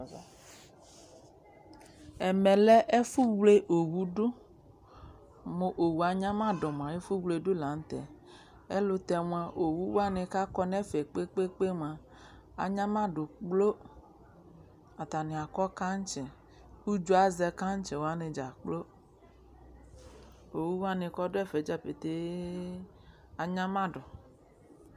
Ɛmɛ lɛ ɛfʋwle owudʋ: mʋ owu anyamadʋ mʋa , ɛfʋ wledʋ la nʋ tɛɛ Ayɛlʋtɛ mʋa , owuwanɩ k'akɔ n'ɛfɛ kpekpekpe mʋa, anyamadʋ kplo Atanɩ akɔ kaŋtsɩ k'udzo azɛ kaŋtsɩwanɩ dza kplo Owuwanɩ kɔ n'ɛfɛ dza petee anyamadʋ